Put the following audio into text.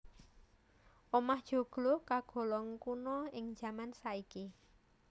Omah joglo kagolong kuna ing jaman saiki